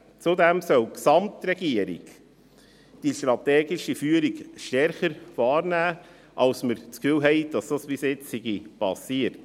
Zudem soll die Gesamtregierung die strategische Führung stärker wahrnehmen, als wir den Eindruck haben, dass es bisher geschehen ist.